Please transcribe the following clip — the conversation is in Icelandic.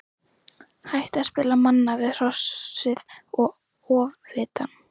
Hætta að spila manna við Hrossið og Ofvitann.